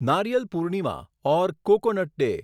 નારિયલ પૂર્ણિમા ઓર coconut day